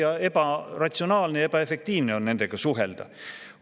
Väga tülikas, ebaratsionaalne ja ebaefektiivne on nendega suhelda!